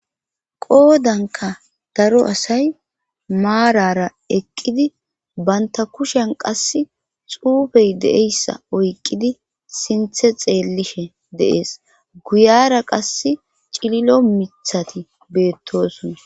Qoodanka daro asay maarara eqqidi banta kushen qas xuufey de'eyssa oyqqidi sinthe xeellishe deees guyara qass cililo mithati beettosona.